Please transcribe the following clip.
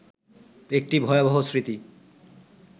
একটি ভয়াবহ স্মৃতি